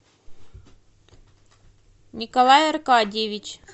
николай аркадьевич